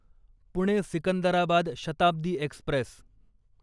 Pune Secunderabad Shatabdi Express